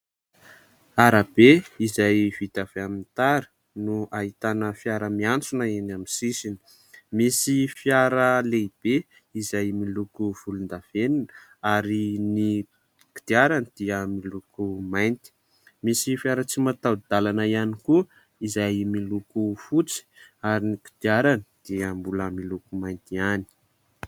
Arabe izay vita avy amin'ny tara no ahitana fiara miantsona eny amin'ny sisiny ; misy fiara lehibe izay miloko volondavenona ary ny kodiarany dia miloko mainty ; misy fiara tsy mataho-dalana ihany koa izay miloko fotsy ary ny kodiarany dia mbola miloko mainty ihany.